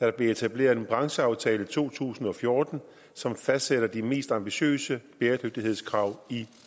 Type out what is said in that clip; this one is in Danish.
der blev etableret en brancheaftale i to tusind og fjorten som fastsætter de mest ambitiøse bæredygtighedskrav